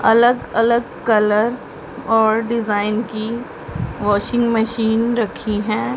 अलग अलग कलर और डिजाइन की वाशिंग मशीन रखी हैं।